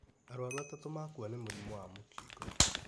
Arwaru atatũ makua nĩ mũrimũ wa mũkingo